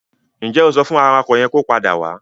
Ǹ jẹ́ o sọ fún awakọ̀ yẹn kó padà wá?